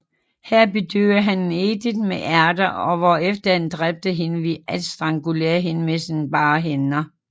Her bedøvede han Edith med æter hvorefter han dræbte hende ved at strangulere hende med sine bare hænder